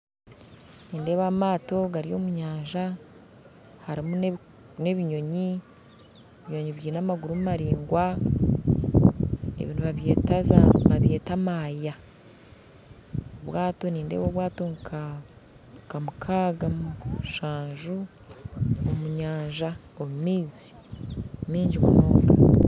Nindeeba amaato gari omunyanja harumu n'ebinyonyi ebinyonyi byine amaguru maraingwa ebi nibabyeta maaya obwato nindeeba obwato nka nka mukaaga mushanju omu nyanja omu maizi mingi munonga.